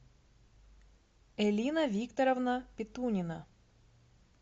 элина викторовна петунина